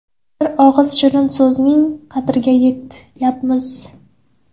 Bir og‘iz shirin so‘zning qadriga yetyapmiz.